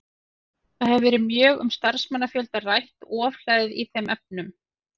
Það hefur verið mjög um starfsmannafjölda rætt og ofhlæði í þeim efnum.